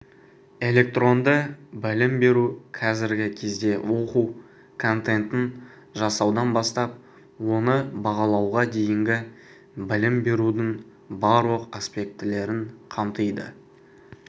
электронды білім беру қазіргі кезде оқу контентін жасаудан бастап оны бағалауға дейінгі білім берудің барлық аспектілерін қамтиды